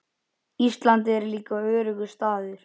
Ísland er líka öruggur staður.